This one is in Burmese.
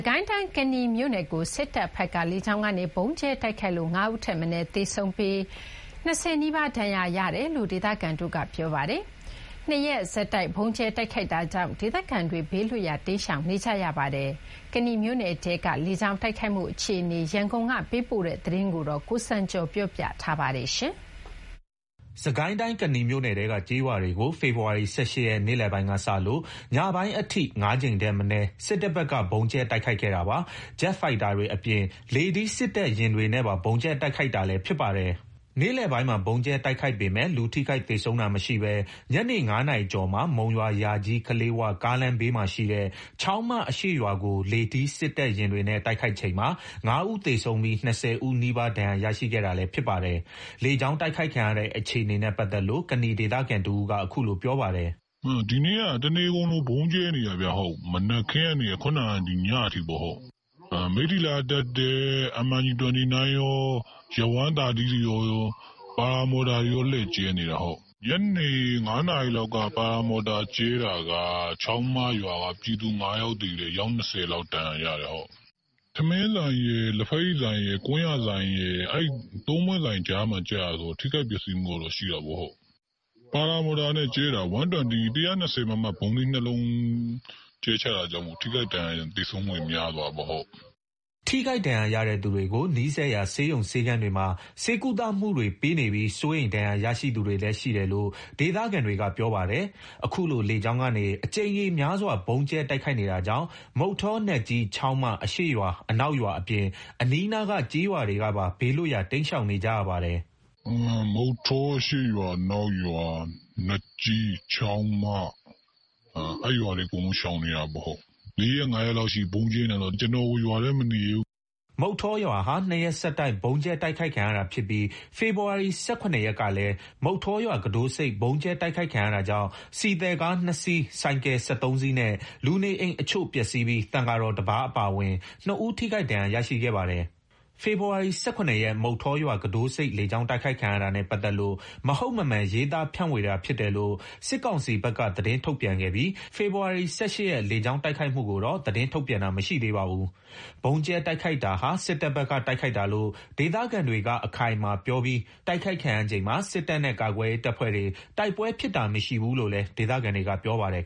ကိုင်းတိုင်း ကနီမြို့နယ်ကို စစ်တပ်ဘက်က လေကြောင်းကနေ ဗုံးကြဲတိုက်ခိုက်လို့ ၅ ဦးထက်မနည်း သေဆုံးပြီး ၂၀ နီးပါး ဒဏ်ရာရရှိခဲ့တယ်လို့ ဒေသခံတွေက ပြောပါတယ်။ ၂ ရက်ဆက်တိုက် ဗုံးကြဲတိုက်ခိုက်တာကြောင့် ဒေသခံတွေ ဘေးလွတ်ရာ တိမ်းရှောင်နေကြပါတယ်။ ကနီမြို့နယ်ထဲက လေကြောင်းတိုက်ခိုက်မှု အခြေအနေ ရန်ကုန်က သတင်းပေးပို့ထားပါတယ်။ စစ်ကိုင်းတိုင်း ကနီမြို့နယ်ထဲက ကျေးရွာတွေကို ဖေဖော်ဝါရီ ၁၈ ရက် နေ့လည်ပိုင်းကစလို့ ညပိုင်းအထိ ၅ ကြိမ်ထက်မနည်း စစ်တပ်ဘက်က ဗုံးကြဲတိုက်ခိုက်ခဲ့တာပါ။ ဂျက်ဖိုက်တာတွေအပြင် လေထီး စက်တပ်ယာဉ်တွေနဲ့ပါ ဗုံးကြဲတိုက်ခိုက်တာလည်း ဖြစ်ပါတယ်။ နေ့လည်ပိုင်းမှာ ဗုံးကြဲတိုက်ခိုက်ပေမယ့် လူထိခိုက်သေဆုံးတာမရှိဘဲ ညနေ ၅ နာရီကျော်မှာ မုံရွာ-ယာကြီး-ကလေး၀ ကားလမ်းဘေးမှာရှိတဲ့ ချောင်းမအရှေ့ရွာကို လေထီး စက်တပ်ယာဉ်တွေနဲ့ တိုက်ခိုက်ချိန်မှာ ၅ ဦး သေဆုံးပြီး ၂၀ နီးပါး ထိခိုက်ဒဏ်ရာရခဲ့တာလည်း ဖြစ်ပါတယ်။ လေကြောင်းတိုက်ခိုက်ခံရတဲ့ အခြေအနေနဲ့ပတ်သက်လို့ ကနီဒေသခံတဦးက အခုလို ပြောပါတယ်။ "ဒီနေ့က တနေကုန်လို ဗုံးကြဲနေတာခင်ဗျ။ မနက်ခင်းကနေ ခုနက ညအထိပေါ့။ မိထ္ထီလာကတက်တဲ့ MIG 29 ကော Yak 130 တွေကော paramotor တွေကော လှည့်ကြဲနေတာ။ ညနေ ၅ နာရီလောက်မှာ paramotor ကြဲတာက ပြည်သူ ၅ ယောက်သေတယ်၊ အယောက် ၂၀ လောက် ဒဏ်ရာရတယ်။ ထမင်းဆိုင်ရယ်၊ လက်ဘက်ရည်ဆိုင်ရယ်၊ ကွမ်းယာဆိုင်ရယ် အဲ့ ၃ ပွင့်ဆိုင်ကြားမှာ ကျတာဆိုတော့ ထိခိုက်ပျက်စီးမှုတော့ ရှိတာပေါ့။ paramotor နဲ့ ကြဲတာ ၁၂၀ မမ ဗုံးသီး ၂ လုံး ကျတာဆိုတော့ ထိခိုက်ဒဏ်ရာရ သေဆုံးမှုတွေ များသွားတာပေါ့။" ထိခိုက်ဒဏ်ရာရတဲ့သူတွေကို နီးစပ်ရာ ဆေးရုံဆေးခန်းတွေမှာ ဆေးကုသမှုတွေပေးနေပြီး စိုးရိမ်ရတဲ့ ဒဏ်ရာရရှိသူတွေလည်း ရှိတယ်လို့ ဒေသခံတွေက ပြောပါတယ်။ အခုလို လေကြောင်းကနေ အကြိမ်ရေများစွာ ဗုံးကြဲတိုက်ခိုက်နေတာကြောင့် မုဌော၊ နတ်ကြီး၊ ချောင်းမ အရှေ့ရွာအနောက်ရွာအပြင် အနီးနားက ကျေးရွာတွေကပါ ဘေးလွတ်ရာ တိမ်းရှောင်နေကြပါတယ်။ "မုဌောအရှေ့ရွာ၊ အနောက်ရွာ၊ နတ်ကြီး၊ ချောင်းမ အဲ့ရွာတွေ အကုန်ရှောင်နေရတယ်။ ၄ ရက် ၅ ရက်လောက်ရှိနေပြီ ဗုံးကြဲနေတာဆိုတော့ ကျနော်ကို ရွာထဲမနေရဲဘူး။" မုဌောရွာဟာ ၂ ရက်ဆက်တိုက် ဗုံးကြဲတိုက်ခိုက်ခံရတာဖြစ်ပြီး ဖေဖော်ဝါရီ ၁၇ ရက်ကလည်း မုဌောရွာ ကူးတို့ဆိပ် ဗုံးကြဲတိုက်ခိုက်ခံရတာကြောင့် ဆီသယ်ကား ၂ စီး၊ ဆိုင်ကယ် ၁၃ စီးနဲ့ လူနေအိမ်အချို့ ပျက်စီးပြီး သံဃာတော်တပါးအပါအဝင် ၂ ဦး ထိခိုက်ဒဏ်ရာ ရရှိခဲ့ပါတယ်။ ဖေဖော်ဝါရီ ၁၇ ရက် မုဌောရွာ ကူးတို့ဆိပ် လေကြောင်းတိုက်ခိုက်ခံရတာနဲ့ ပတ်သက်လို့ မဟုတ်မမှန် ရေးသားဖြန့်ဝေတာ ဖြစ်တယ်လို့ စစ်ကောင်စီဘက်က သတင်းထုတ်ပြန်ခဲ့ပြီး ဖေဖော်ဝါရီ ၁၈ ရက် လေကြောင်းတိုက်ခိုက်မှုကိုတော့ သတင်းထုတ်ပြန်တာ မရှိသေးပါဘူး။ ဗုံးကြဲတိုက်ခိုက်တာဟာ စစ်တပ်ဘက်က တိုက်ခိုက်တာလို့ ဒေသခံတွေက အခိုင်အမာပြောပြီး တိုက်ခိုက်ခံရချိန်မှာ စစ်တပ်နဲ့ ကာကွယ်ရေးတပ်ဖွဲ့တွေ တိုက်ပွဲဖြစ်တာမရှိဘူးလို့လည်း ဒေသခံတွေက ပြောပါတယ်